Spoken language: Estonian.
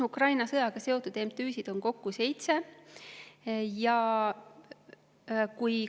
Ukraina sõjaga seotud MTÜ-sid on kokku seitse.